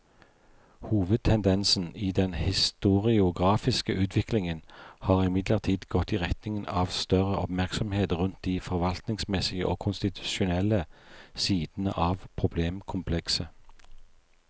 Hovedtendensen i den historiografiske utviklingen har imidlertid gått i retning av større oppmerksomhet rundt de forvaltningsmessige og konstitusjonelle sidene av problemkomplekset.